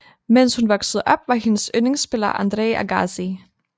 Mens hun voksede op var hendes yndlingsspiller Andre Agassi